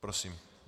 Prosím.